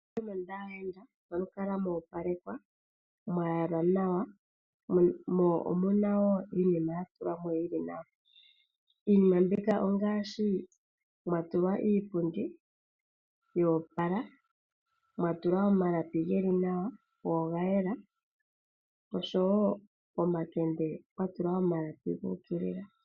Mondunda yaayenda ohamu kala moopalekwa, mwayalwa nawa mo omuna wo iinima yatulwamo yili nawa iinima mbika ongaashi mwatulwa iipundi yoopala, mwatulwa omalapi geli nawa, go ogayela, oshowoo pomakende pwatulwa omalapi guukilila.